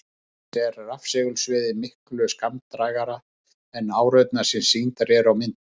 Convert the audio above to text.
Auk þess er rafsegulsviðið miklu skammdrægara en árurnar sem sýndar eru á myndum.